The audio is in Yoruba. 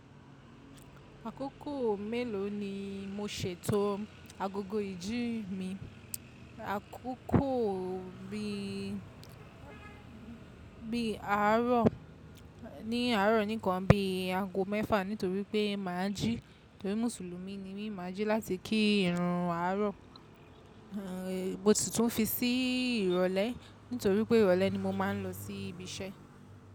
Àkókò mélòó ni mo ṣètò agogo ìjín mi? Àkókò bí i àárọ̀ ní àárọ̀ nìkan bí i ago mẹ́fà nítorí pé màá jí torí Mùsùlùmí ni mí, màá jí láti kí ìrùn àárọ̀. Mo sì tún fi sí ìrọ̀lẹ́ nítorí pé ìrọ̀lẹ́ ni mo máa ń lọ sí ibi iṣẹ́.